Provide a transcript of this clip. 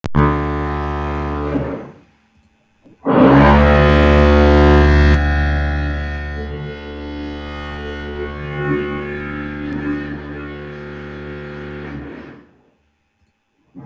Þú verður að fara í svörtu úlpuna.